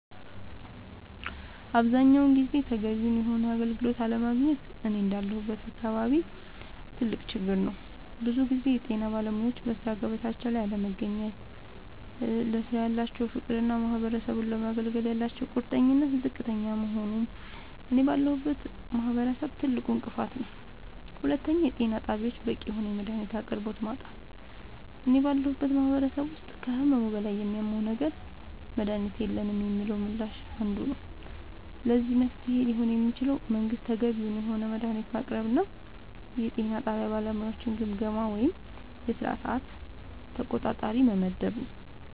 አብዛኛውን ጊዜ ተገቢውን የሆነ አገልግሎት አለማግኘት እኔ እንዳለሁበት አካባቢ ትልቅ ችግር ነዉ ብዙ ጊዜ የጤና ባለሙያወች በሥራ ገበታቸው ላይ አለመገኘት ለስራው ያላቸው ፍቅርና ማህበረሰቡን ለማገልገል ያላቸው ቁርጠኝነት ዝቅተኛ መሆኑ እኔ ባለሁበት ማህበረሰብ ትልቁ እንቅፋት ነዉ ሁለተኛው የጤና ጣቢያወች በቂ የሆነ የመድሃኒት አቅርቦት ማጣት እኔ ባለሁበት ማህበረሰብ ውስጥ ከህመሙ በላይ የሚያመው ነገር መድሃኒት የለንም የሚለው ምላሽ አንዱ ነዉ ለዚህ መፍትሄ ሊሆን የሚችለው መንግስት ተገቢውን የሆነ መድሃኒት ማቅረብና የጤና ጣቢያ ባለሙያወችን ግምገማ ወይም የስራ ሰዓት ተቆጣጣሪ መመደብ